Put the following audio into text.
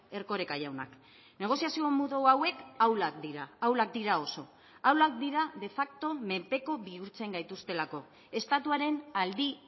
erkoreka jaunak negoziazio modu hauek ahulak dira ahulak dira oso ahulak dira de facto menpeko bihurtzen gaituztelako estatuaren aldi